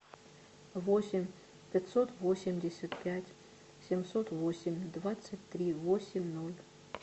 восемь пятьсот восемьдесят пять семьсот восемь двадцать три восемь ноль